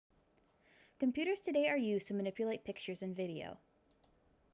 computers today are used to manipulate pictures and videos